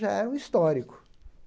já era um histórico.